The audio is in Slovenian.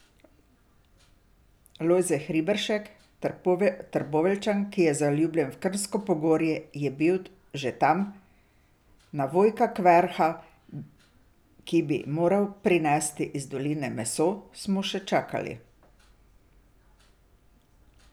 Lojze Hribršek, Trboveljčan, ki je zaljubljen v Krnsko pogorje, je bil že tam, na Vojka Kverha, ki bi moral prinesti iz doline meso, smo še čakali.